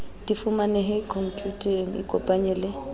di fumanehe khomputeng ikopanye le